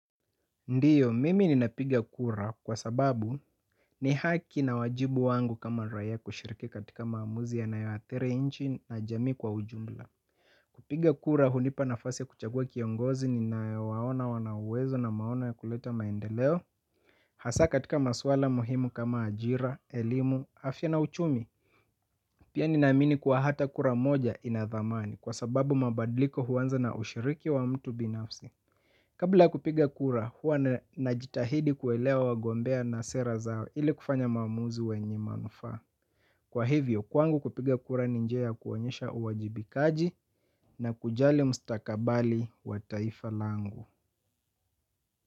Ndiyo, mimi ninapiga kura kwa sababu ni haki na wajibu wangu kama raia kushiriki katika maamuzi yanayoathiri nchi na jamii kwa ujumla. Kupiga kura hunipa nafasi ya kuchagua kiongozi ninayowaona wana uwezo na maono ya kuleta maendeleo. Hasa katika maswala muhimu kama ajira, elimu, afya na uchumi. Pia ninaamini kuwa hata kura moja ina thamani, kwa sababu mabadiliko huanza na ushiriki wa mtu binafsi. Kabla ya kupiga kura, huwa najitahidi kuelewa wagombea na sera zao ili kufanya maamuzi wenye manufaa. Kwa hivyo, kwangu kupiga kura ni njia ya kuonyesha uwajibikaji na kujali mstakabali wa taifa langu.